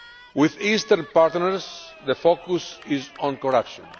With Eastern partners the focus is on corruption.